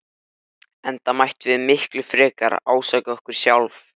Hann vildi vita hvenær Örn ætlaði til Gerðar.